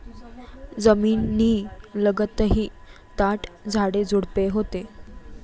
जमिनीलगतही दाट झाडेझुडपे होती.